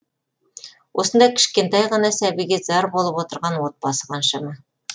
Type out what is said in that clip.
осындай кішкентай ғана сәбиге зар болып отырған отбасы қаншама